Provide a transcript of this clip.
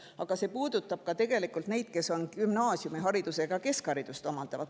Aga see puudutab tegelikult ka neid, kes keskharidust omandavad.